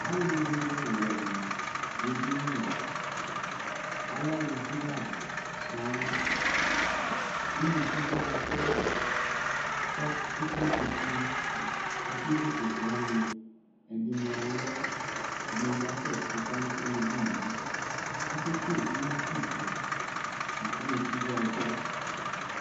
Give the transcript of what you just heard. Alʋwɛnɩ dʋ edini Alɛ aluvi la sɔŋ Unukuvio adzɔ kʋ ekple kpoku Akevu kpoku wanɩ Ɛdɩnɩ alɔ, ɛdɩnɩ bɩ asɛtɩ kamefue nʋ edini yɛ Akekele ɩmakisɛ la kʋ unukuvio adzɔ